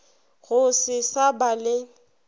go se sa ba le